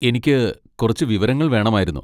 എനിക്ക് കുറച്ച് വിവരങ്ങൾ വേണമായിരുന്നു.